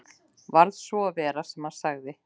Varð svo að vera sem hann sagði.